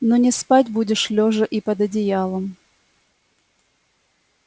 но не спать будешь лёжа и под одеялом